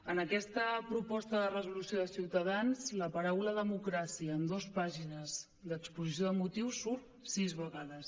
en aquesta proposta de resolució de ciutadans la paraula democràcia en dos pàgines d’exposició de motius surt sis vegades